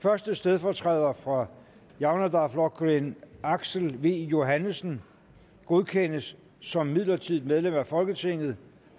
første stedfortræder for javnaðarflokkurin aksel v johannesen godkendes som midlertidigt medlem af folketinget